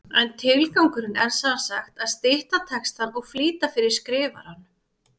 En tilgangurinn er sem sagt að stytta textann og flýta fyrir skrifaranum.